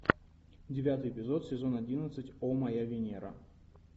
девятый эпизод сезон одиннадцать о моя венера